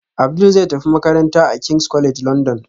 Abdul zai tafi makaranta a king's college london